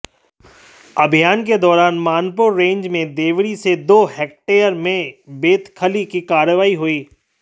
अभियान के दौरान मानपुर रेंज में देवरी से दो हेक्टेयर में बेदखली की कार्रवाई हुई